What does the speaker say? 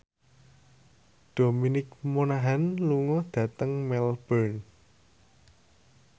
Dominic Monaghan lunga dhateng Melbourne